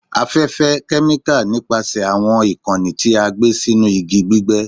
Afẹfẹ, kẹmika nipasẹ awọn ikanni ti a gbe sinu igi gbigbe